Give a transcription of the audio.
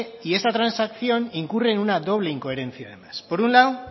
y esta transacción incurre en una doble incoherencia además por un lado